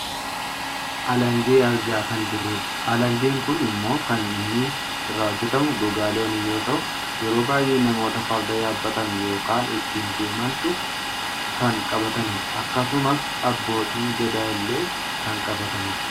alangee argaa kan jirrudha. alangeen kun ammoo kan inni irraa hojjatamu gogaa loonii yoo ta'u yeroo baayyee namoota farda yaabbatan yookaan ittiin deemantu kan qabatanidha. akkasumas abbootiin gadaa illee kan qabatanidha.